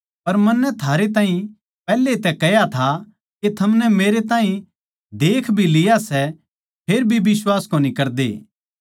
पर मन्नै थारै ताहीं पैहले तै कह्या था के थमनै मेरैताहीं देख भी लिया सै फेर भी बिश्वास कोनी करदे